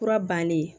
Kura bannen